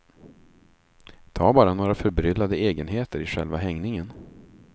Ta bara några förbryllande egenheter i själva hängningen.